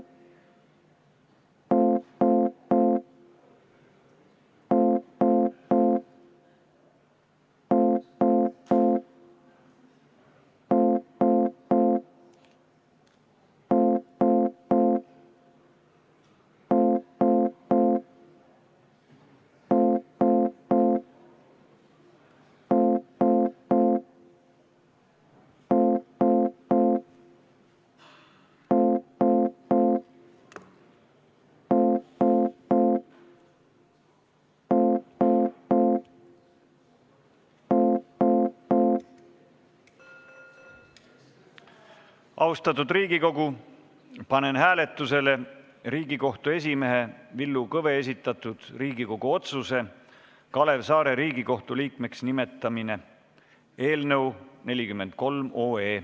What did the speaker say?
Austatud Riigikogu, panen hääletusele Riigikohtu esimehe Villu Kõve esitatud Riigikogu otsuse "Kalev Saare Riigikohtu liikmeks nimetamine" eelnõu 43.